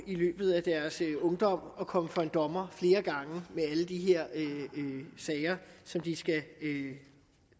i løbet af deres ungdom kan at komme for en dommer flere gange med alle de her sager som de skal